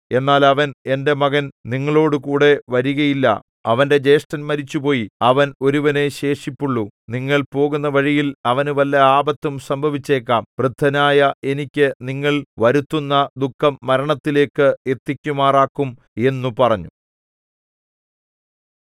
എന്നാൽ അവൻ എന്റെ മകൻ നിങ്ങളോടുകൂടെ വരികയില്ല അവന്റെ ജ്യേഷ്ഠൻ മരിച്ചുപോയി അവൻ ഒരുവനേ ശേഷിപ്പുള്ളു നിങ്ങൾ പോകുന്ന വഴിയിൽ അവന് വല്ല ആപത്തും സംഭവിച്ചേക്കാം വൃദ്ധനായ എനിക്ക് നിങ്ങൾ വരുത്തുന്ന ദുഃഖം മരണത്തിലേക്ക് എത്തിക്കുമാറാക്കും എന്നു പറഞ്ഞു